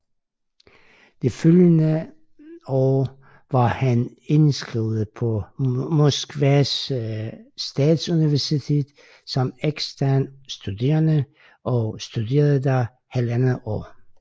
Det følgende år var han indskrevet på Moskvas statsuniversitet som ekstern studerende og studerede der halvandet år